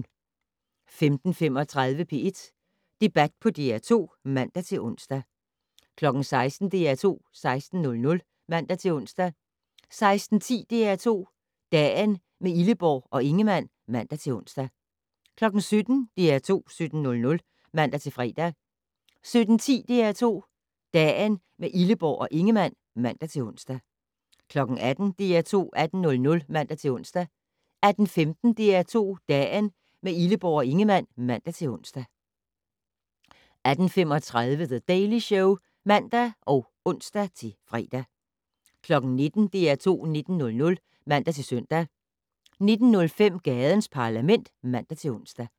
15:35: P1 Debat på DR2 (man-ons) 16:00: DR2 16:00 (man-ons) 16:10: DR2 Dagen - med Illeborg og Ingemann (man-ons) 17:00: DR2 17:00 (man-fre) 17:10: DR2 Dagen - med Illeborg og Ingemann (man-ons) 18:00: DR2 18:00 (man-ons) 18:15: DR2 Dagen - med Illeborg og Ingemann (man-ons) 18:35: The Daily Show (man og ons-fre) 19:00: DR2 19:00 (man-søn) 19:05: Gadens Parlament (man-ons)